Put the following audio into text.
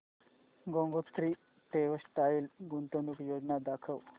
Gangotri textile गुंतवणूक योजना दाखव